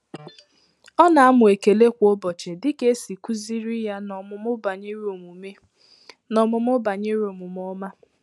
Ọ na-amụ ekele kwa ụbọchị dịka esi kuziri ya n’omụmụ banyere omume n’omụmụ banyere omume ọma